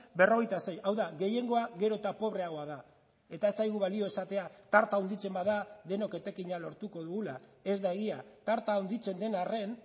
berrogeita sei hau da gehiengoa gero eta pobreagoa da eta ez zaigu balio esatea tarta handitzen bada denok etekina lortuko dugula ez da egia tarta handitzen den arren